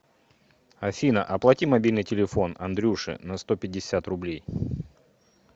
афина оплати мобильный телефон андрюше на сто пятьдесят рублей